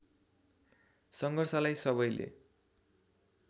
सङ्घर्षलाई सबैले